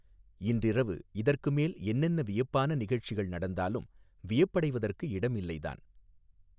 இன்றிரவு இதற்கு மேல் என்னென்ன வியப்பான நிகழ்ச்சிகள் நடந்தாலும் வியப்படைவதற்கு இடமில்லைதான்.